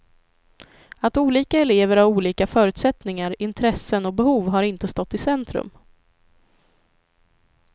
Att olika elever har olika förutsättningar, intressen och behov har inte stått i centrum.